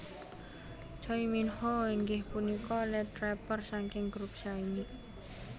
Choi Minho inggih punika lead rapper saking group Shinee